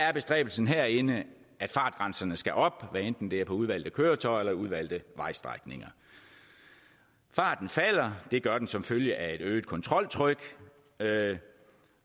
er bestræbelsen herinde at fartgrænserne skal op hvad enten det er på udvalgte køretøjer eller udvalgte vejstrækninger farten falder det gør den som følge af et øget kontroltryk